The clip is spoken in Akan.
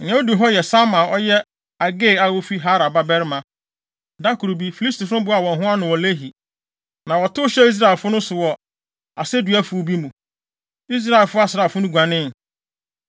Nea odi hɔ yɛ Sama a ɔyɛ Agee a ofi Harar babarima. Da koro bi, Filistifo no boaa wɔn ho ano wɔ Lehi, na wɔtow hyɛɛ Israelfo no so wɔ aseduafuw bi mu. Israel asraafo no guanee,